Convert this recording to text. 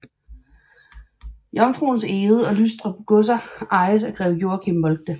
Jomfruens Egede og Lystrup godser ejes af greve Joachim Moltke